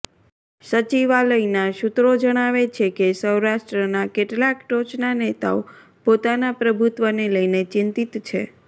સચિવાલયના સૂત્રો જણાવે છે કે સૌરાષ્ટ્રના કેટલાક ટોચના નેતાઓ પોતાના પ્રભુત્વ ને લઈને ચિંતિત છે